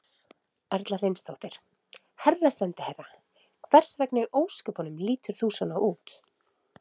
Erla Hlynsdóttir: Herra sendiherra, hvers vegna í ósköpunum lítur þú svona út?